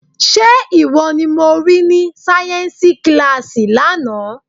Ṣé ìwọ ni mo rí ní sáyẹ́ńsì kíláàsì lánàá?